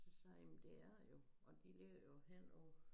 Så sagde jeg jamen det er det jo og de ligger jo henover